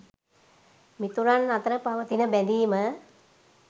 මිතුරන් අතර පවතින බැඳීම